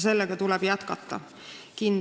Sellega tuleb kindlasti jätkata.